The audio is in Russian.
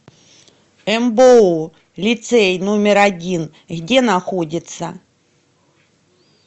мбоу лицей номер один где находится